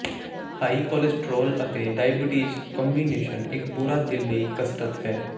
high cholesterol ਅਤੇ diabetes combination ਇੱਕ ਬੁਰਾ ਦਿਲ ਲਈ ਕਸਰਤ ਹੈ